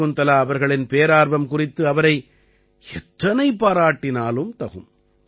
சகுந்தலா அவர்களின் பேரார்வம் குறித்து அவரை எத்தனை பாராட்டினாலும் தகும்